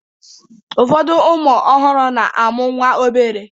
Ụfọdụ ụmụ ọhụrụ na-amụ nwa obere